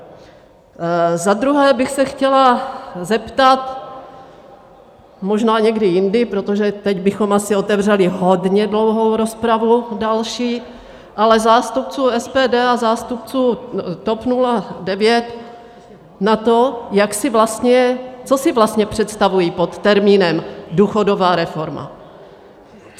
Za druhé bych se chtěla zeptat, možná někdy jindy, protože teď bychom asi otevřeli hodně dlouhou rozpravu další, ale zástupců SPD a zástupců TOP 09 na to, co si vlastně představují pod termínem důchodová reforma.